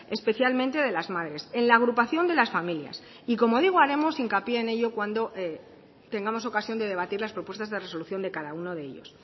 especialmente de las madres en la agrupación de las familias y como digo haremos hincapié en ello cuando tengamos ocasión de debatir las propuestas de resolución de cada uno de ellos